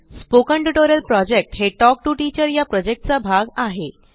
spoken tutorial project हे talk to teacher चा भाग आहे